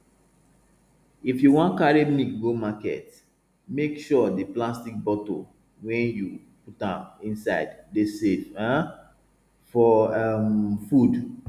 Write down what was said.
if you wan carry milk go market make sure the plastic bottle wey you put am inside dey safe um for um food